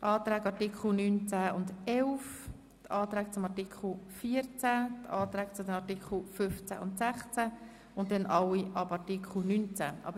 Die Anträge zu den Artikeln 9, 10 und 11, die Anträge zu Artikel 14, die Anträge zu den Artikeln 15 und 16 und danach alle Anträge ab Artikel 19.